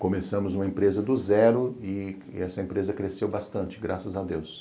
Começamos uma empresa do zero e essa empresa cresceu bastante, graças a Deus.